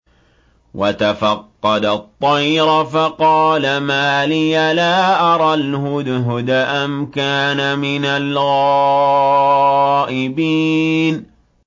وَتَفَقَّدَ الطَّيْرَ فَقَالَ مَا لِيَ لَا أَرَى الْهُدْهُدَ أَمْ كَانَ مِنَ الْغَائِبِينَ